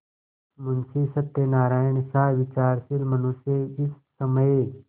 मुंशी सत्यनारायणसा विचारशील मनुष्य इस समय